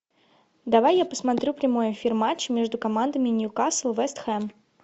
давай я посмотрю прямой эфир матча между командами ньюкасл вест хэм